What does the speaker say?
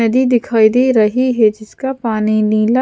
नदी दिखाई दे रही है जिसका पानी नीला--